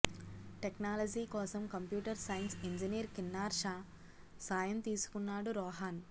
technology కోసం computer science engineer Kinnar Shah సాయం తీసుకున్నాడు రోహన్